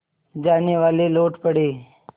जानेवाले लौट पड़े